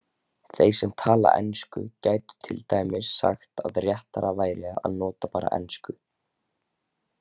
Þeir sem tala ensku gætu til dæmis sagt að réttara væri að nota bara ensku.